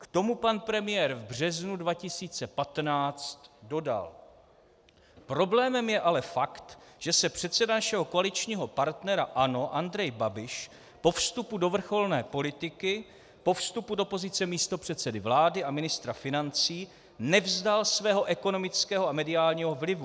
K tomu pan premiér v březnu 2015 dodal: Problémem je ale fakt, že se předseda našeho koaličního partnera ANO Andrej Babiš po vstupu do vrcholné politiky, po vstupu do pozice místopředsedy vlády a ministra financí nevzdal svého ekonomického a mediálního vlivu.